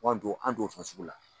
Ko an t'o, an t'o fɛn sugu la.